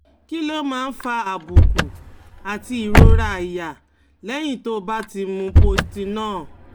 Kí ló máa ń fa àbùkù àti ìrora àyà lẹ́yìn tó o bá ti mu Postinor?